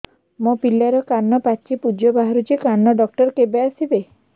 ମୋ ପିଲାର କାନ ପାଚି ପୂଜ ବାହାରୁଚି କାନ ଡକ୍ଟର କେବେ ଆସିବେ